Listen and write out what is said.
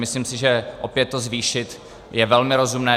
Myslím si, že opět to zvýšit je velmi rozumné.